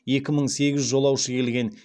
екі мың сегіз жолаушы келген